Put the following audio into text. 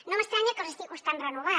no m’estranya que els estigui costant renovar